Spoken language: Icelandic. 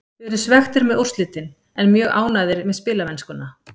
Við erum svekktir með úrslitin en mjög ánægðir með spilamennskuna.